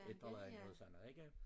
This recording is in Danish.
Et eller andet sådan noget ikke